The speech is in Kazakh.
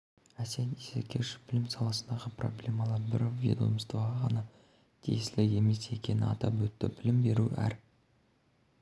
әсет исекешев білім саласындағы проблемалар бір ведомствоға ғана тиесілі емес екенін атап өтті білім беру әр